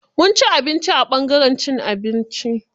Mun ci abinci a ɓangaren cin abinci.